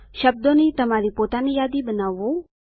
શબ્દોની તમારી પોતાની યાદી બનાવવું